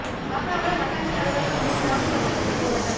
சாத்தான்குளம் வட்டாட்சியா் அலுவலகம் முன் கிராம மக்கள் திடீா் போராட்டம்